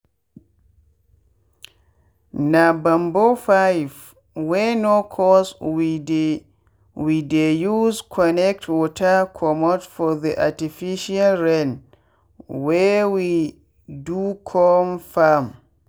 na bamboo pipe wey no cost we dey we dey use connect water commot for the artificial rain wey we docome farm.